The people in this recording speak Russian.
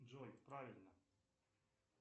джой правильно